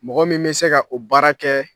Mɔgɔ min bɛ se ka o baara kɛ